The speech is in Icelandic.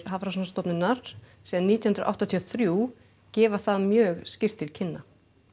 Hafrannsóknastofnunar síðan nítján hundruð áttatíu og þrjú gefa það mjög skýrt til kynna